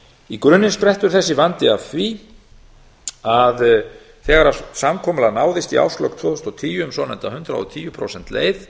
í grunninn sprettur þessi vandi af því að þegar samkomulag náðist í árslok tvö þúsund og tíu um svonefnda hundrað og tíu prósenta leið